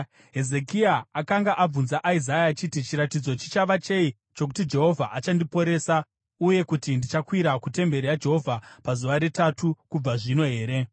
Hezekia akanga abvunza Isaya achiti, “Chiratidzo chichava chei chokuti Jehovha achandiporesa uye kuti ndichakwira kutemberi yaJehovha pazuva retatu kubva zvino here?”